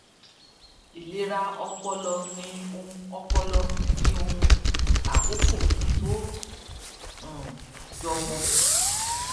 ìlera ọpọlọ ni ohun ọpọlọ ni ohun àkókó tó um jọ wọn